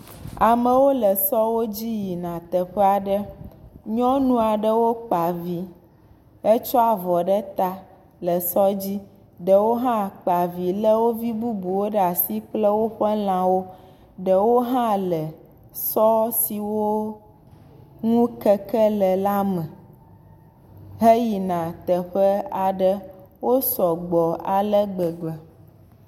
Amewo le sɔwo dzi yina teƒe aɖe, nyɔnu aɖewo kpa vi hetsɔ avɔ ɖe ta le sɔ dzi, ɖewo hãtsɔ wo vi bubuwo ɖe asi kple woƒe lãwo, ɖewo hã le sɔ si wo ŋu keke le al me heyina teƒe aɖe wo sɔgbɔ ale gbegbe